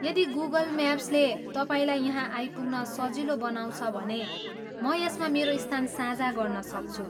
यदि गुगल म्याप्सले तपाईँलाई यहाँ आइपुग्न सजिलो बनाउँछ भने म यसमा मेरो स्थान साझा गर्न सक्छु ।